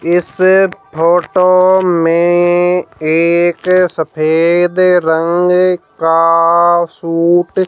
इस फोटो में एक सफेद रंग का सूट --